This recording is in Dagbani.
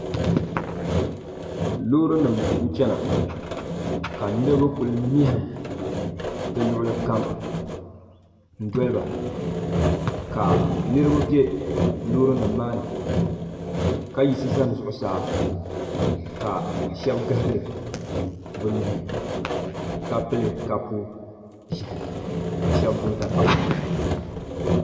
Loori nima n chena ka niriba kuli mehim di luɣuli kam n doliba ka niriba be loori nima maa ni ka yiɣisi zani zuɣusaa ka Sheba gahari bɛ nuhi ka pili kapu ʒehi ka sheba gbibi dapaɣalima.